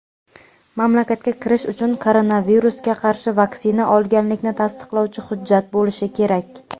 mamlakatga kirish uchun koronavirusga qarshi vaksina olganlikni tasdiqlovchi hujjat bo‘lishi kerak.